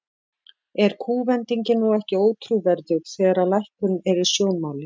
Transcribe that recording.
Er kúvendingin nú ekki ótrúverðug, þegar að lækkun er í sjónmáli?